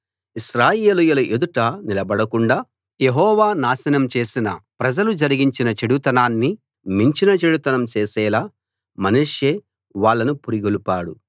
ఇశ్రాయేలీయుల ఎదుట నిలబడకుండా యెహోవా నాశనం చేసిన ప్రజలు జరిగించిన చెడుతనాన్ని మించిన చెడుతనం చేసేలా మనష్షే వాళ్ళను పురిగొల్పాడు